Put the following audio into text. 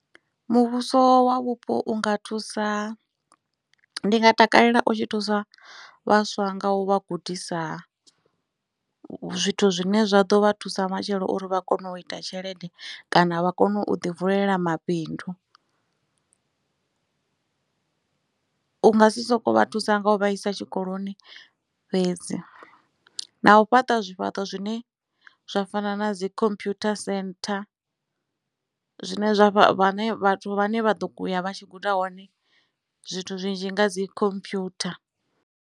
Muvhuso wa vhupo unga thusa ndi nga takalela u tshi thusa vhaswa nga u vha gudisa zwithu zwine zwa ḓo vha thusa matshelo uri vha kone u ita tshelede kana vha kone u ḓi vulela mabindu. Unga si soko vha thusa nga u vha isa tshikoloni fhedzi na u fhaṱa zwifhaṱo zwine zwa fana na dzi computer centre zwine zwa vha ḓo uya vha tshi guda hone zwithu zwinzhi nga dzi computer.